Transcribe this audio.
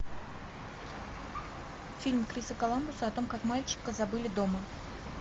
фильм криса коламбуса о том как мальчика забыли дома